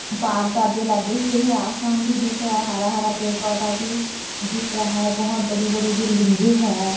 अपार परदे लगे हुए है आसमान भी दिख रहा है हरा हर पेड़ पौधा भी दिख रहा है बहुत बड़ी बड़ी बिल्डिंगे है।